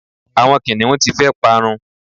àwọn kiniun ti fe parun